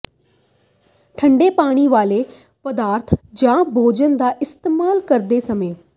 ਠੰਡੇ ਪੀਣ ਵਾਲੇ ਪਦਾਰਥ ਜਾਂ ਭੋਜਨ ਦਾ ਇਸਤੇਮਾਲ ਕਰਦੇ ਸਮੇਂ